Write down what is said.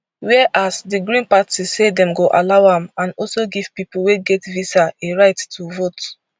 whereas di green party say dem go allow am and also give pipo wey get visa a right to vote